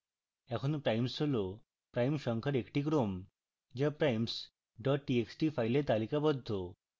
এখন primes হল prime সংখ্যার একটি ক্রম যা primes txt file তালিকাবদ্ধ